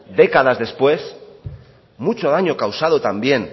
décadas después mucho daño causado también